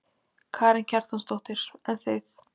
Karen Kjartansdóttir: En þið?